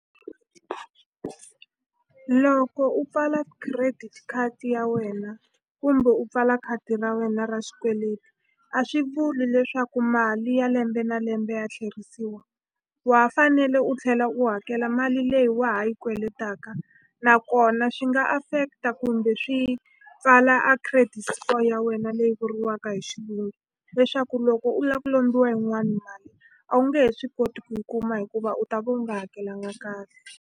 Loko u pfala credit card ya wena kumbe u pfala khadi ra wena ra xikweleti a swi vuli leswaku mali ya lembe na lembe ya tlherisiwa wa fanele u tlhela u hakela mali leyi wa ha yi kweletaka nakona swi nga affect-a kumbe swi pfala a credit score ya wena leyi vuriwaka hi xilungu leswaku loko u la ku lombiwa yin'wani a wu nge he swi koti ku yi kuma hikuva u ta va u nga hakelanga kahle.